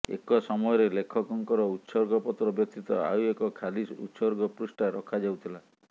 ଏକ ସମୟରେ ଲେଖକଙ୍କର ଉତ୍ସର୍ଗପତ୍ର ବ୍ୟତୀତ ଆଉ ଏକ ଖାଲି ଉତ୍ସର୍ଗ ପୃଷ୍ଠା ରଖାଯାଉଥିଲା